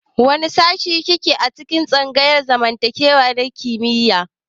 Wane shashi ki ke a tsangayar zamantakewa ta kimiyya?